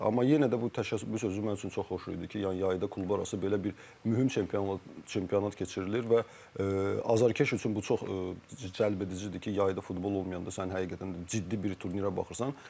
Amma yenə də bu təşəkkür sözü mənim üçün çox xoş idi ki, yəni yayda klublar arası belə bir mühüm çempionlar çempionat keçirilir və azərkeş üçün bu çox cəlbedicidir ki, yayda futbol olmayanda sən həqiqətən də ciddi bir turnirə baxırsan.